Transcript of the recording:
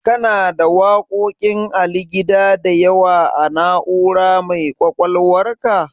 Kana da waƙoƙin Ali Gida da yawa a Na'ura mai ƙwaƙwalwarka?